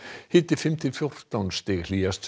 hiti fimm til fjórtán stig hlýjast